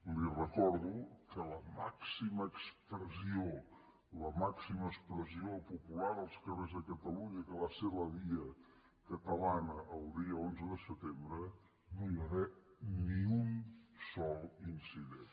li recordo que a la màxima expressió popular als carrers de catalunya que va ser la via catalana el dia onze de setembre no hi va haver ni un sol incident